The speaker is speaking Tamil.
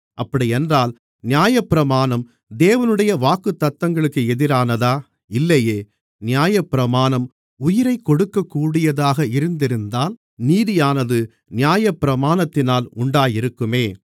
அப்படியென்றால் நியாயப்பிரமாணம் தேவனுடைய வாக்குத்தத்தங்களுக்கு எதிரானதா இல்லையே நியாயப்பிரமாணம் உயிரைக் கொடுக்கக்கூடியதாக இருந்திருந்தால் நீதியானது நியாயப்பிரமாணத்தினால் உண்டாயிருக்குமே